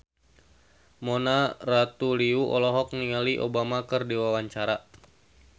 Mona Ratuliu olohok ningali Obama keur diwawancara